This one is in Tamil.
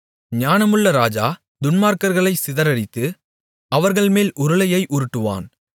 ஞானமுள்ள ராஜா துன்மார்க்கர்களை சிதறடித்து அவர்கள்மேல் உருளையை உருட்டுவான்